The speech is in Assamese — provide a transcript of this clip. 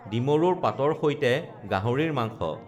ডিমৰুৰ পাতৰ সৈতে গাহৰিৰ মাংস